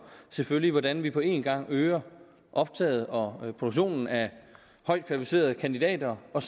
selvfølgelig hvordan vi på en gang øger optaget og produktionen af højt kvalificerede kandidater og